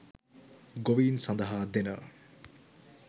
ගොවීන් සඳහා දෙන